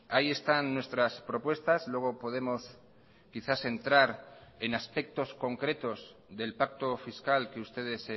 ahí están nuestras propuestas luego podemos quizás entrar en aspectos concretos del pacto fiscal que ustedes